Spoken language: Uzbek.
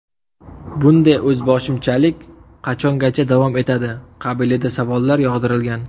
Bunday o‘zboshimchalik qachongacha davom etadi qabilida savollar yog‘dirilgan.